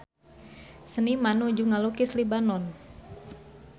Seniman nuju ngalukis Libanon